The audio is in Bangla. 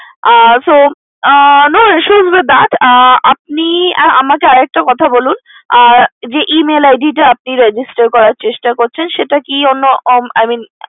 Ah so no issues with that আপনি আমাকে আরেকটা কথা বলুন যে Email id টা আপনি register করার চেষ্টা করছেন সেটা কি অন্য I mean